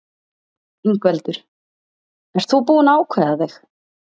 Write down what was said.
Ingveldur: Ert þú búinn að ákveða þig?